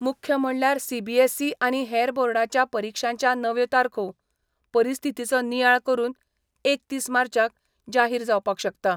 मुख्य म्हणल्यार सीबीएसइ आनी हेर बोर्डाच्या परिक्षांच्या नव्यो तारखो परिस्थितीचो नियाळ करून एकतीस मार्चाक जाहीर जावपाक शकता.